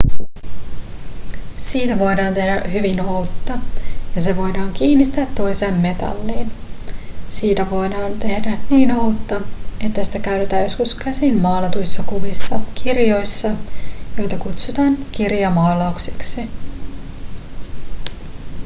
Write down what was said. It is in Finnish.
siitä voidaan tehdä hyvin ohutta ja se voidaan kiinnittää toiseen metalliin siitä voidaan tehdä niin ohutta että sitä käytettiin joskus käsin maalatuissa kuvissa kirjoissa joita kutsutaan kirjamaalauksiksi